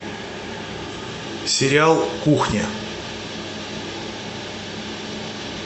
сериал кухня